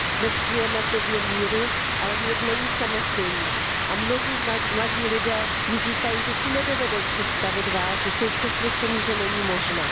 Dnes žijeme v době míru, ale mír není samozřejmý, a mnozí mladí lidé mi říkají, že si nedovedou představit válku, jsou přesvědčeni, že není možná.